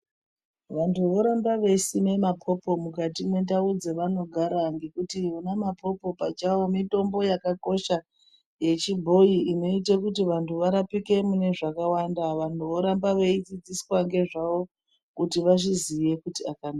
Vantu voramba veisima mapopo mukati mwendau dzevanogara nekuti ona mapopo pachawo mitombo yakakosha yechibhoi inoite kuti vantu varapike mune zvakawanda, vanhu voramba veidzidziswa nezvavo kuti vazviziye kuti